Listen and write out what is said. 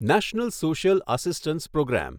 national social assistance programme